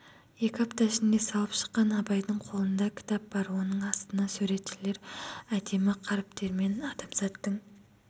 екі апта ішінде салып шыққан абайдың қолында кітап бар оның астына суретшілер әдемі қаріптермен адамзаттың